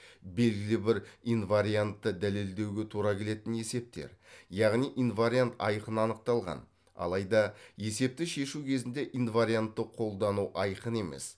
белгілі бір инвариантты дәлелдеуге тура келетін есептер яғни инвариант айқын анықталған алайда есепті шешу кезінде инвариантты қолдану айқын емес